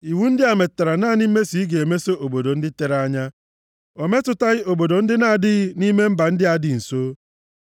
Iwu ndị a metụtara naanị mmeso ị ga-emeso obodo ndị tere anya. O metụtaghị obodo ndị na-adịghị nʼime mba ndị a dị nso.